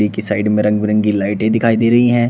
के साइड में रंग बिरंगी लाइटें दिखाई दे रही हैं।